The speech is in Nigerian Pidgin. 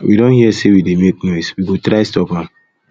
we don hear say we dey make noise we go try stop am